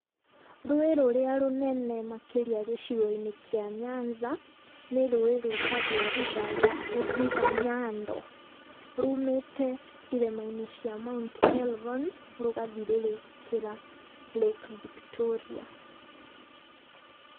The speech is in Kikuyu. Rũĩ rũrĩa rũnene makĩria gĩcigo-inĩ kĩa Nyanza, ni rũĩ rwĩtagwo River River Nyando, rumĩte irĩma-inĩ cia Mount Elgon, rũgathirĩrĩkĩra Lake Victoria.